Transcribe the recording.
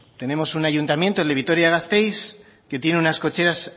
tenemos un ayuntamiento el de vitoria gasteiz que tiene unas cocheras